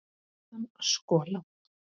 Síðan skolað.